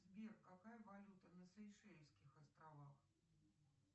сбер какая валюта на сейшельских островах